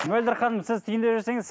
мөлдір ханым сіз түйіндеп жіберсеңіз